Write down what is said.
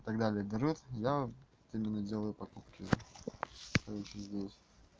и так далее дерёт я вот именно делаю покупки короче здесь